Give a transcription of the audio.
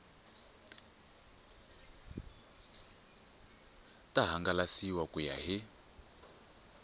ta hangalasiwa ku ya hi